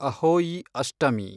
Ahoi Ashtami